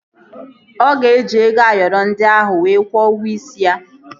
Ọ ga-eji ego Ayoro ndị ahụ wee kwuo ụgwọ isi ya